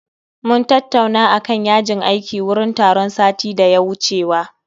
Mun tattauna akan yajin aiki wurin taron satin da ya wucewa